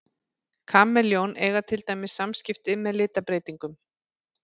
Kameljón eiga til dæmis samskipti með litabreytingum.